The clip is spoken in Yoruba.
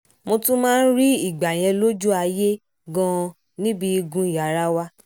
mo tún máa ń rí ìgbà yẹn lójú ayé gan-an níbi igun yàrá wa